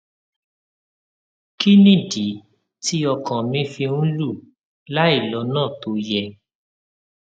kí nìdí tí ọkàn mi fi ń lù láìlónà tó yẹ